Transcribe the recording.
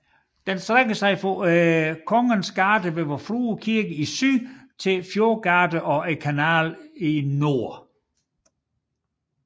Den strækker sig fra Kongens gate ved Vor Frue kirke i syd til Fjordgate og Kanalen i nord